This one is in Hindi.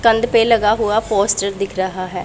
पे लगा हुआ पोस्टर दिख रहा है।